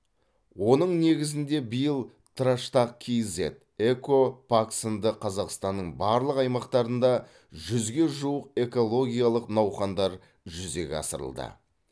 оның негізінде биыл траштақ киззет эко пак сынды қазақстанның барлық аймақтарында жүзге жуық экологиялық науқандар жүзеге асырылды